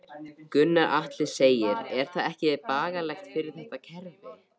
Gunnar Atli: Er það ekki bagalegt fyrir þetta kerfi?